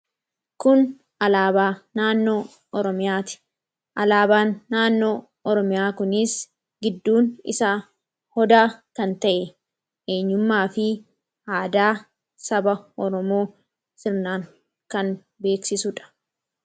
Kun alaabaa naannoo oromiyaati. Alaabaan naannoo Oromiyaa kunis gidduun isa Odaa kan ta'e eenyummaa fi aadaa saba Oromoo sirnaan kan beeksisudha.